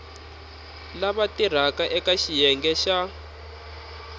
lava tirhaka eka xiyenge xa